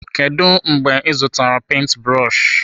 Kedụ mgbe ị zụtara penti brọshi?